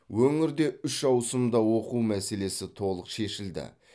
өңірде үш ауысымда оқу мәселесі толық шешілді